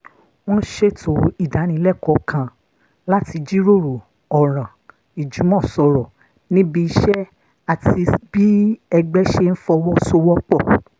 wọ́n ṣètò ìdánilẹ́kọ̀ọ́ kan láti jíròrò ọ̀ràn ìjùmọ̀sọ̀rọ̀ níbi iṣẹ́ àti bí ẹgbẹ́ ṣe ń fọwọ́ sowọ́ pọ̀